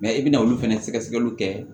i bɛna olu fɛnɛ sɛgɛsɛgɛliw kɛ